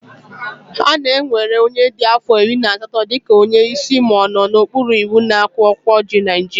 A na-ewere onye dị afọ iri na asatọ dị ka onye isi ma ọ nọ n'okpuru iwu na akwụkwọ iwu Naijiria